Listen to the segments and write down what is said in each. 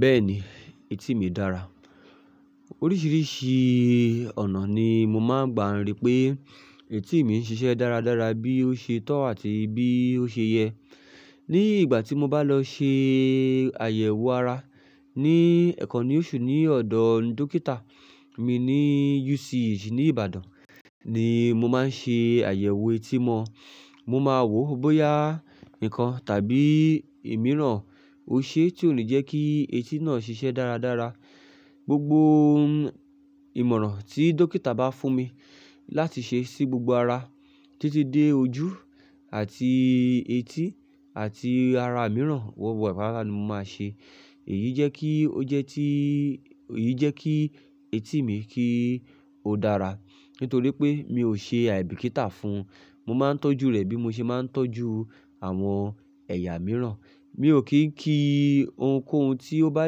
Bẹ́ẹ̀ni, etí mí dára. Oríṣiríṣi ọ̀nà ni mo máa ń gbà ń rí pé etí mí ń ṣiṣẹ́ dáradára bí ó ṣe tọ́ àti bí ó ṣe yẹ. Ni ìgbà tí mo bá lọ ṣe àyẹ̀wò ara ní ẹ̀ kan ni oṣù ní ọ̀dọ̀ dókítà mi ní UCH ní Ìbàdàn ni mo máa ń ṣe àyẹ̀wò etí mọ. Mo máa wo bóyá ǹkan tàbí ìmíràn ò ṣe tí ò ní jẹ́ kí etí náà ṣiṣẹ́ dáradára. Gbogbo ìmọ̀ràn tí dókítà bá fún mi láti ṣe sí gbogbo ara títí dé ojú àti etí àti ara mìíràn, gbogbo pata ni mo máa ṣe. Èyí jẹ́ kí ó jẹ́ tí, èyí jẹ́ kí etí mí kí ó dára. Nítorí pé mi ò ṣe àìbìkítà fún un, mo máa ń tọ́jú rẹ̀ bí mo ṣe máa ń tọ́jú àwọn ẹ̀yà mìíràn. Mi ò kì í kí ohunkóhun tí ó bá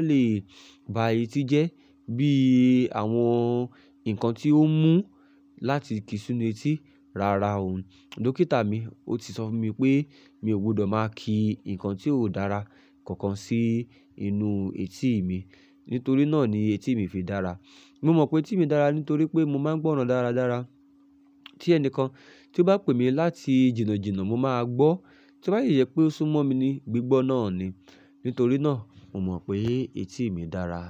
lè ba etí jẹ́ bí àwọn nǹkan tí ó mú láti kí sinu etí, rárá o. Dókítà mi ó ti sọ fún mi pé mi ò gbudọ̀ máa kí nǹkan tí ó ò dára kankan sí inú etí mi. Nítorí náà ni etí mí fi dára. Mo mọ̀ pé etí mí dára nítorí pé mo máa ń gbọ́ràn dáradára. Tí ẹnìkan tí ó bá pè mí láti jìnnà jìnnà, mo máa gbọ́. Tí ó bá yi yẹ pé ó súnmọ́ mi ní gbígbọ́ náà ni. Nítorí náà mo mọ̀ pé etí mí dára.